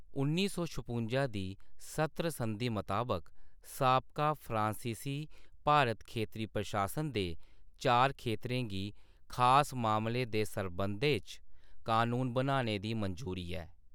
उन्नी सौ छपुंजा दी सत्र संधि मताबक, साबका फ्रांसीसी भारत खेतरी प्रशासन दे चार खेतरें गी खास मामलें दे सरबंधै च कनून बनाने दी मंजूरी ऐ।